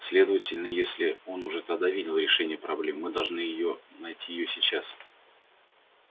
следовательно если он уже тогда видел решение проблемы мы должны её найти её сейчас